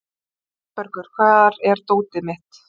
Sæbergur, hvar er dótið mitt?